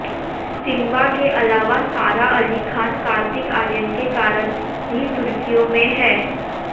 Simba के अलावा सारा अली खान कार्तिक आर्यन के कारण भी सुर्खियों में हैं